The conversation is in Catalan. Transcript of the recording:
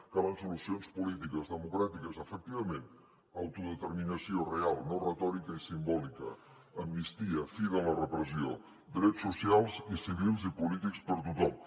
calen solucions polítiques democràtiques efectivament autodeterminació real no retòrica i simbòlica amnistia fi de la repressió drets socials i civils i polítics per tothom